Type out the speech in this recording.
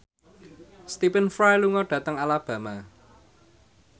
Stephen Fry lunga dhateng Alabama